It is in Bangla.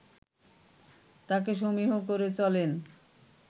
তাকে সমীহ করে চলেন